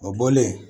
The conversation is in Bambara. O bɔlen